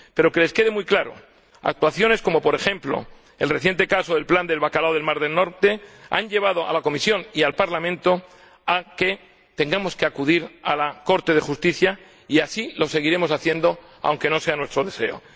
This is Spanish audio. Pero que les quede muy claro actuaciones como, por ejemplo, el reciente caso del plan del bacalao del mar del Norte han llevado a la Comisión y al Parlamento a que tengamos que acudir al Tribunal de Justicia y así lo seguiremos haciendo aunque no sea nuestro deseo.